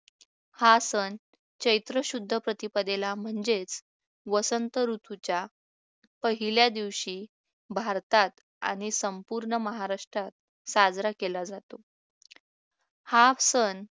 हा सण चैत्र शुद्ध प्रतिपदेला म्हणजेच वसंत ऋतूच्या पहिल्या दिवशी भारतात आणि संपूर्ण महाराष्ट्रात साजरा केला जातो हा सण